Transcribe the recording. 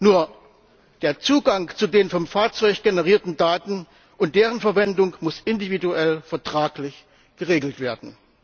Nur der Zugang zu den vom Fahrzeug generierten Daten und deren Verwendung muss individuell vertraglich geregelt werden.